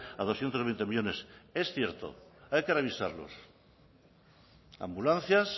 a doscientos veinte millónes es cierto hay que revisarlos ambulancias